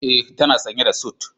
E, tana sanye da sut.